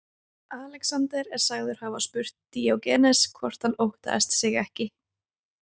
Alexander er sagður hafa spurt Díógenes hvort hann óttaðist sig ekki.